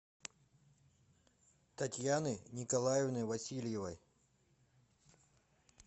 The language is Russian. татьяны николаевны васильевой